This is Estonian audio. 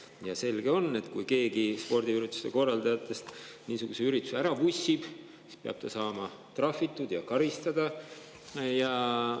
Ja selge on, et kui keegi spordiürituste korraldajatest niisuguse ürituse ära vussib, siis peab ta saama trahvitud ja karistada.